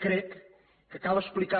crec que cal explicar